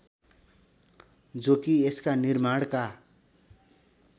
जो कि यसका निर्माणका